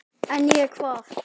En ég, hvað?